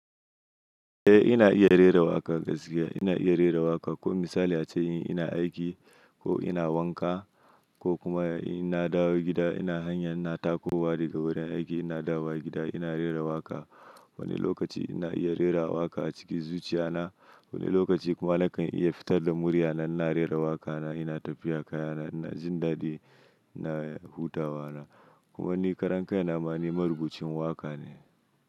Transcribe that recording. Eh ina iya rera waƙa gaskiya ina iya rera waƙa ko misali ace yi ina aiki ko ina wanka ko kuma ina dawo gida ina hanya ina takowa daga wurin aiki ina dawo gida ina rera waƙa. Wani lokaci ina iya rera waƙa a cikin zuciya na, wani lokaci kuma nakan iya fitar da murya na ina rera waƙa na ina tafiya kaya na ina jin ɗaɗi ina hutawa na. Kuma ni karan kaina ma ni maribucin waƙa ne.